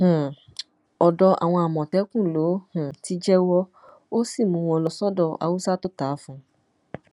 um ọdọ àwọn àmọtẹkùn ló um ti jẹwọ ó sì mú wọn lọ sọdọ haúsá tó ta á fún